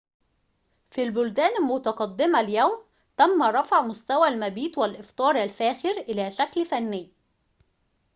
في البلدان المتقدمة اليوم تم رفع مستوى المبيت والإفطار الفاخر إلى شكل فني